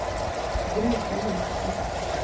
Greta Jensen